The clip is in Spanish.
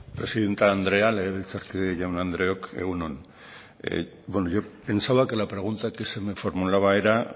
presidente andrea legebiltzarkide jaun andreok egun on bueno yo pensaba que la pregunta que se me formulaba era